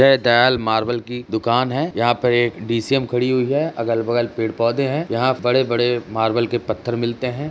यह दयाल मार्बल की दुकान है यहाँ पर एक डीसीएम खड़ी हुई है अगल बगल पेड़ पौधे हैं यहाँ बड़े बड़े मार्बल के पत्थर मिलते हैं।